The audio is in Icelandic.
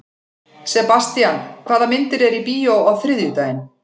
Sebastian, hvaða myndir eru í bíó á þriðjudaginn?